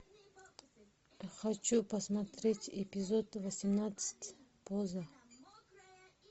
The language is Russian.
хочу посмотреть эпизод восемнадцать поза